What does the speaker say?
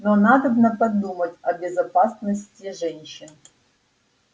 но надобно подумать о безопасности женщин